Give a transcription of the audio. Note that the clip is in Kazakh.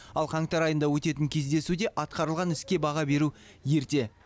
ал қаңтар айында өтетін кездесуде атқарылған іске баға беру ерте